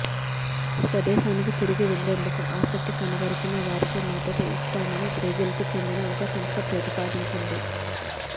స్వదేశానికి తిరిగి వెళ్లేందుకు ఆసక్తి కనపరిచిన వారికి మద్దతు ఇస్తామని బ్రెజిల్కు చెందిన ఒక సంస్థ ప్రతిపాదించింది